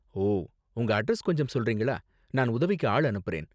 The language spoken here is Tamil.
ஓ, உங்க அட்ரஸ் கொஞ்சம் சொல்றீங்களா, நான் உதவிக்கு ஆள் அனுப்புறேன்.